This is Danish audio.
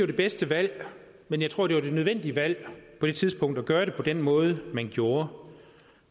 det bedste valg men jeg tror det var et nødvendigt valg på det tidspunkt at gøre det på den måde man gjorde